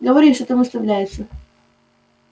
говори чего там выставляется